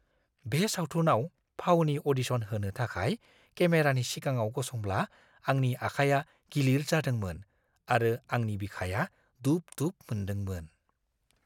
बे सावथुनाव फावनि अ'डिशन होनो थाखाय केमेरानि सिगाङाव गसंब्ला आंनि आखाइया गिलिर जादोंमोन आरो आंनि बिखाया दुब-दुब मोनदोंमोन।